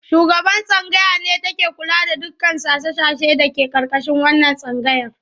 Shugaban tsangaya ne take kula da dukkan sashe-sashe da ke ƙarƙashin wannan tsangayar.